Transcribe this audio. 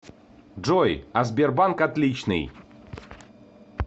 джой а сбербанк отличный